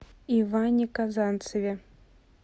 иване казанцеве